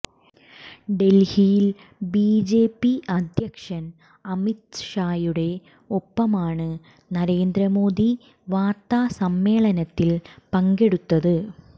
ഡൽഹിയിൽ ബിജെപി അധ്യക്ഷൻ അമിത് ഷായുടെ ഒപ്പമാണ് നരേന്ദ്രമോദി വാർത്ത സമ്മേളനത്തിൽ പങ്കെടുത്തത്